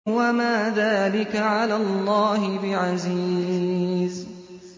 وَمَا ذَٰلِكَ عَلَى اللَّهِ بِعَزِيزٍ